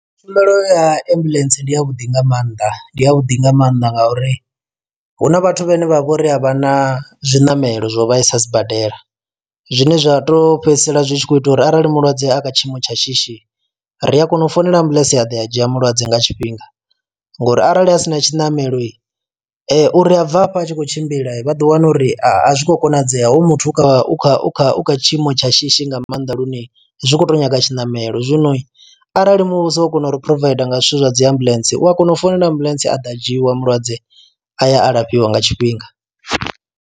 Tshumelo ya ambuḽentse ndi ya vhuḓi nga maanḓa ndi ya vhuḓi nga mannḓa ngauri huna vhathu vhane vha vhori a vha na zwiṋamelo zwo vha i sa sibadela zwine zwa to fhedzisela zwitshi kho ita uri arali mulwadze a kha tshiimo tsha shishi ri a kona u founela ambuḽentse a ḓo a dzhia mulwadze nga tshifhinga, ngori arali a sina tshiṋamelo uri a bva afha a tshi kho tshimbila vha ḓo wana uri a zwi kho konadzea hoyo muthu u kha u kha u kha u kha tshiimo tsha shishi nga maanḓa lune zwi kho to nyaga tshiṋamelo zwino arali muvhuso a u kona uri provider nga zwithu zwa dzi ambuḽentse u a kona u founela ambuḽentse a ḓa dzhiiwa mulwadze a ya alafhiwa nga tshifhinga.